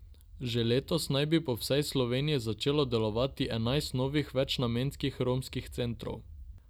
Že letos naj bi po vsej Sloveniji začelo delovati enajst novih večnamenskih romskih centrov.